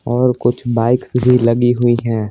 और कुछ बाइक्स भी लगी हुई हैं।